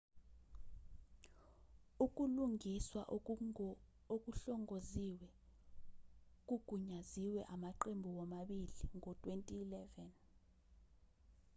ukulungiswa okuhlongoziwe kugunyaziwe amaqembu womabili ngo-2011